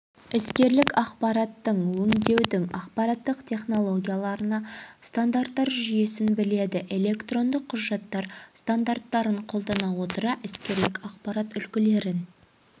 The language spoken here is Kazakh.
іскерлік ақпараттың өңдеудің ақпараттық технологияларына стандарттар жүйесін біледі электрондық құжаттар стандарттарын қолдана отыра іскерлік ақпарат үлгілерін